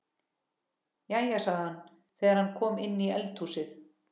Jæja, sagði hann þegar hann kom inn í eldhúsið.